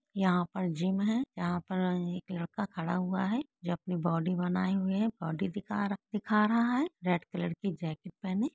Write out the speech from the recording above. यहां पर जिम है। यहां पर एक लड़का खड़ा हुआ है जो अपनी बॉडी बनाए हुए है बॉडी दिख रहा है रेड कलर की जैकेट पहने।